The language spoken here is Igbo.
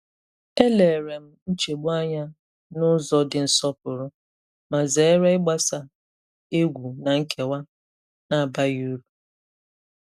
E lèrè m nchegbu anya n’ụ̀zọ dì nsọ̀pụrụ, ma zèrè ịgbàsà ègwù na nkewa na-abaghị uru.